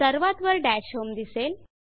सर्वात वर डॅशहोम दिसेल